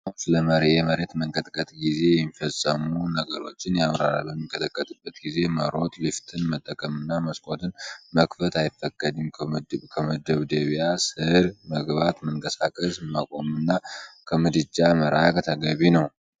አርማው ስለ የመሬት መንቀጥቀጥ ጊዜ የሚፈጸሙ ነገሮች ያብራራል። በሚንቀጠቀጥበት ጊዜ መሮጥ፣ ሊፍትን መጠቀምና መስኮትን መክፈት አይፈቀድም። ከመደብደቢያ ስር መግባት፣ መንቀሳቀስ ማቆምና ከምድጃ መራቅ ተገቢ ነው።